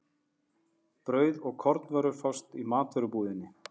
Brauð og kornvörur fást í matvörubúðinni.